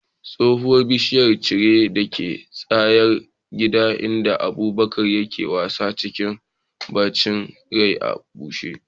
Tsohuwar bishiyar ceri dake tsakar gida inda Abubakar yake wasa, cikin bacin rai ya bushe.